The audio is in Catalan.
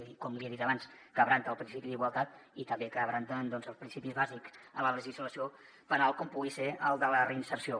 i com li he dit abans trenca el principi d’igualtat i també trenca principis bàsics en la legislació penal com pugui ser el de la reinserció